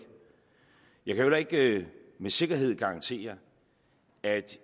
jeg kan heller ikke med sikkerhed garantere at